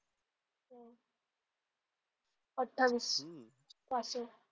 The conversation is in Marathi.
अठ्ठावीस. पासिंग.